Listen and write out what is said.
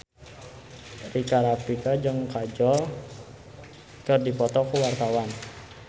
Rika Rafika jeung Kajol keur dipoto ku wartawan